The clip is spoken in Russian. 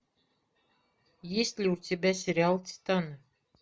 есть ли у тебя сериал титаны